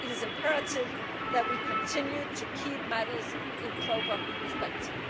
It is imperative that we continue to keep matters in proper perspective.